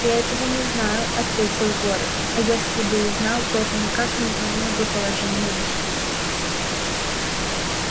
я этого не знаю ответил горов а если бы и знал то это никак не изменило бы положения вещей